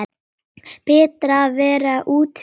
Berta að bera út Vísi.